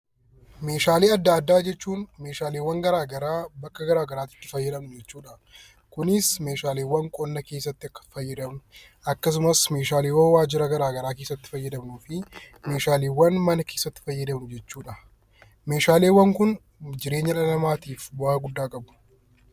Meeshaalee adda addaa jechuun meeshaaleewwan garaagaraa bakka garaagaraatti itti fayyadamnu jechuu dha. Kunis meeshaaleewwan qonna keessatti fayyadamnu akkasumas meeshaaleewwan waajjira garaagaraa keessatti fayyadamnuu fi meeshaaleewwan mana keessatti fayyadamnu jechuu dha. Meeshaaleewwan kun jireenya dhala namaatiif bu'aa guddaa qabu.